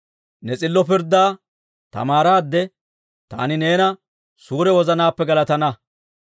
Ne s'illo pirddaa tamaaraade, taani neena suure wozanaappe galatana.